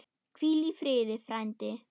Hvíl í friði, frændi.